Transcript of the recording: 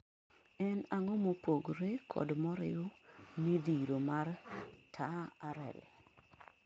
En ang'o mopogre kod moriw midhiro mar TaRL?